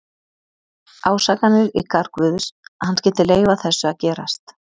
Ásakanir í garð Guðs, að hann skyldi leyfa þessu að gerast.